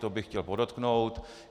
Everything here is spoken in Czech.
To bych chtěl podotknout.